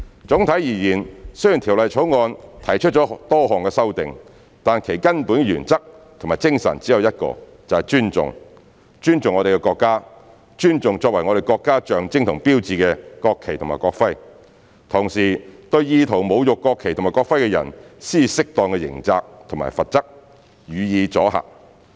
總體而言，雖然《條例草案》提出了多項修訂，但其根本原則及精神只有一個，就是"尊重"，尊重我們的國家、尊重作為我們國家象徵和標誌的國旗及國徽，同時對意圖侮辱國旗及國徽的人施以適當的刑責和罰則，予以阻嚇。